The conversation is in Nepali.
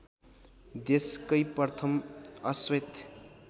देशकै प्रथम अश्वेत